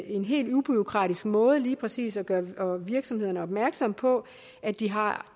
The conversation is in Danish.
en helt ubureaukratisk måde lige præcis at gøre virksomhederne opmærksomme på at de har